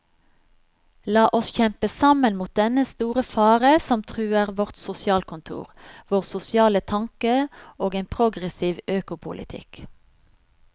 La oss kjempe sammen mot dennne store fare som truer vårt sosialkontor, vår sosiale tanke og en progressiv økopolitikk.